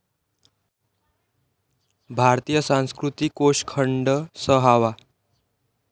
भारतीय संस्कृती कोष खंड सहावा